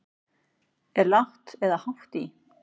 Er lágt eða hátt í?